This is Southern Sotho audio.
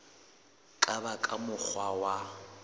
ka ba ka mokgwa wa